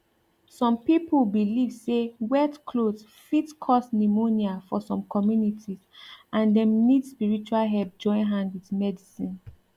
some pipo believe say wet cloth fit cause pneumonia for some communities and dem need spiritual help join hand with medicine